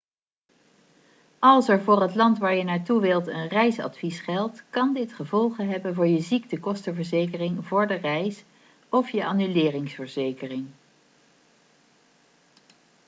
als er voor het land waar je naartoe wilt een reisadvies geldt kan dit gevolgen hebben voor je ziektekostenverzekering voor de reis of je annuleringsverzekering